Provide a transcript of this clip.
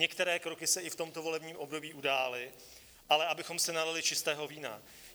Některé kroky se i v tomto volebním období udály, ale abychom si nalili čistého vína.